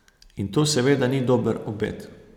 In to seveda ni dober obet.